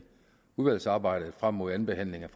udvalgsarbejdet frem mod andenbehandlingen